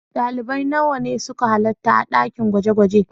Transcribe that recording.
Dalibai nawa ne suka halarta a dakin gwaje-gwaje?